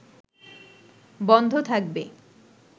বন্ধ থাকবে